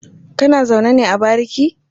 Kana zaune ne a bariki?